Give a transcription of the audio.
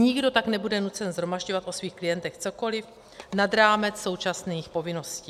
Nikdo tak nebude nucen shromažďovat o svých klientech cokoliv nad rámec současných povinností.